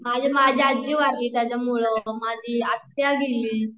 आणि माझी आजी वारली त्याच्यामुळ, माझी आत्या गेली